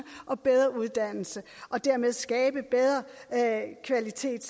og bedre uddannelse og dermed skabe bedre kvalitet